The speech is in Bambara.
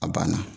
A banna